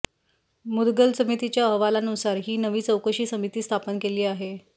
मुदगल समितीच्या अहवालानुसार ही नवी चौकशी समिती स्थापन केली आहे